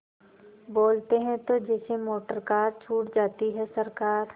बोलते हैं तो जैसे मोटरकार छूट जाती है सरकार